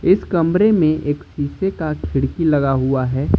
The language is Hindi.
इस कमरे में एक शीशे का खिड़की लगा हुआ है।